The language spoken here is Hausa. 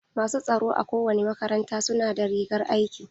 Masu tsaro a kowane makaranta su na da rigar aiki.